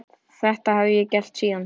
Þetta hef ég gert síðan.